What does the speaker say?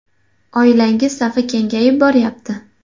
Oilangiz safi kengayib boryapti?